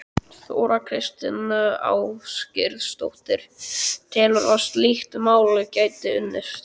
Þóra Kristín Ásgeirsdóttir: Telurðu að slíkt mál gæti unnist?